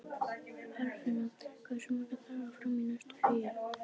Eirfinna, hversu margir dagar fram að næsta fríi?